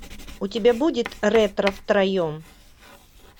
у тебя будет ретро втроем